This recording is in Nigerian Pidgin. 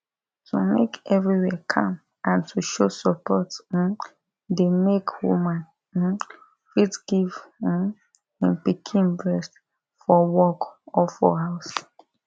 to make everywhere calm and to show support um dey make woman um fit give um him pikin breast for work or for house